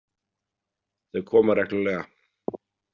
Þau koma reglulega.